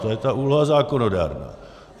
To je ta úloha zákonodárná.